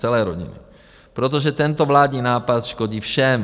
Celé rodiny, protože tento vládní nápad škodí všem.